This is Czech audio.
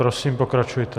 Prosím, pokračujte.